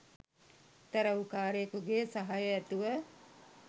තැ‍රැව්කාරයෙකුගේ සහය ඇතිව